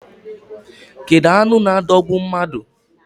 Kedu anụ na adogbu mmadụ?